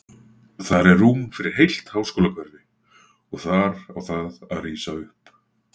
Þar er rúm fyrir heilt háskólahverfi, og þar á það að rísa upp.